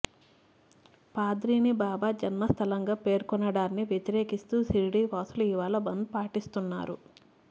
పాథ్రీని బాబా జన్మస్థలంగా పేర్కొనడాన్ని వ్యతిరేకిస్తూ శిర్డీవాసులు ఇవాళ బంద్ పాటిస్తున్నారు